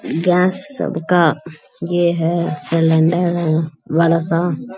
Gas सबका ये है सलेंडर अर वाला सा।